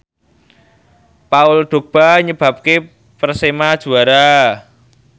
Paul Dogba nyebabke Persema juara